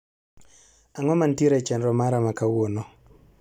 Ang' o mantiere e chenro mara ma kawuono